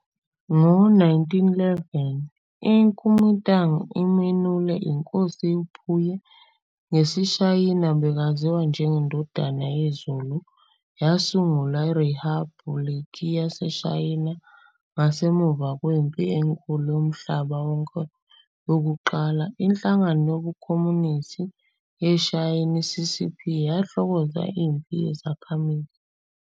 Ngo-1911, iKuomintang imenule iNkosi uPuyi, ngesiShayina bekaziwa njengeNdodana yeZulu, yasungula iRiphabhuliki yaseShayina. Ngasemuva kweMpi Enkulu yomMhlaba Wonke yokuQala, iNhlangano yobuKhomunisti yaseShayina, i-"CCP", yahlokoza imphi yezakhamuzi.